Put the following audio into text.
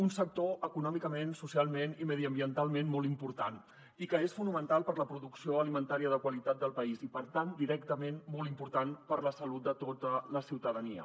un sector econòmicament socialment i mediambientalment molt important i que és fonamental per a la producció alimentària de qualitat del país i per tant directament molt important per a la salut de tota la ciutadania